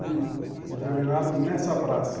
Tudo regerminado nessa praça.